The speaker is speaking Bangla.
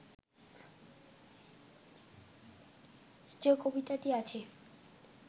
যে কবিতাটি আছে